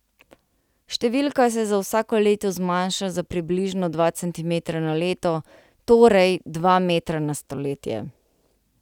Številka se za vsako leto zmanjša za približno dva centimetra na leto, torej dva metra na stoletje.